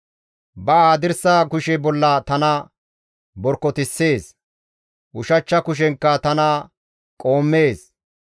Ba hadirsa kushe bolla tana borkotissees; ushachcha kushenkka tana qoommees.